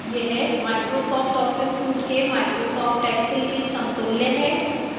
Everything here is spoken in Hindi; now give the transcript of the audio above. यह microsoft office suite के microsoft excel के समतुल्य है